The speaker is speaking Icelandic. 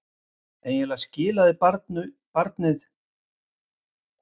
Eiginlega skilaði barnið matnum jafn illa frá sér og hún tók við honum.